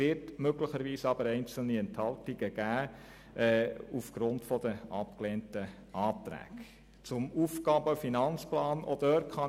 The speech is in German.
Möglicherweise gibt es aufgrund der abgelehnten Anträge einzelne Enthaltungen.